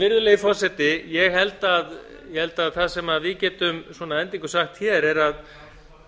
virðulegi forseti ég held að það sem við getum að endingu sagt hér